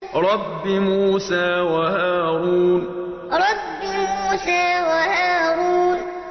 رَبِّ مُوسَىٰ وَهَارُونَ رَبِّ مُوسَىٰ وَهَارُونَ